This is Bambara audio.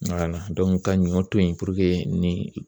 Wala ka ɲɔ to yi puruke ni